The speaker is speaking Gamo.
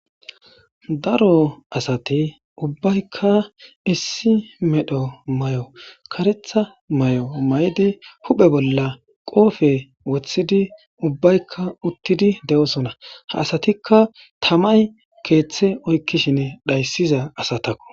daro asati ubbaykka issi medho may7o karetha may7o may7di huphe bolla qoofe woththidi ubbaykka uttidi de7osona ha asatikka tamay keeththe oykkishinn dhayssiza asatakko